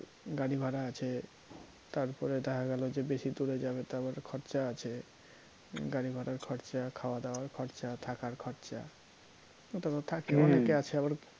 গাড়িভাড়া আছে তারপরে দেখা গেল যে বেশি দূরে যাবে তারপরে খরচা আছে, গাড়িভাড়ার খরচা খাওয়াদাওয়ার খরচা থাকার খরচা ওটা তো থাকে অনেকে আছে আবার